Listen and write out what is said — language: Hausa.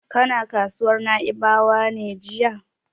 Kana kasuwar Na'ibawa ne jiya?